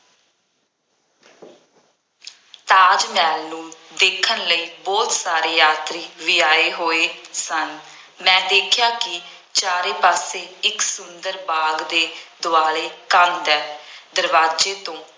ਤਾਜ ਮਹਿਲ ਨੂੰ ਦੇਖਣ ਲਈ ਬਹੁਤ ਸਾਰੇ ਯਾਤਰੀ ਵੀ ਆਏ ਹੋਏ ਸਨ। ਮੈਂ ਦੇਖਿਆਂ ਕਿ ਚਾਰੇ ਪਾਸੇ ਇੱਕ ਸੁੰਦਰ ਬਾਗ ਦੇ ਦੁਆਲੇ ਕੰਧ ਹੈ। ਦਰਵਾਜ਼ੇ ਤੋਂ